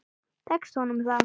Tekst honum það?